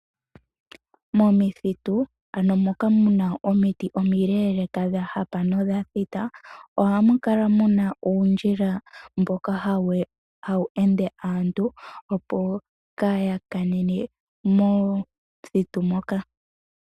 Momithitu ano moka muna omiti omileeleeka dha hapa nodha thita, ohamu kala muna uundjila mboka hawu ende aantu opo kaaya kanene momuthiti moka.